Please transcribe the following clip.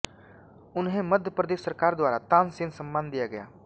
उन्हें मध्य प्रदेश सरकार द्वारा तानसेन सम्मान दिया गया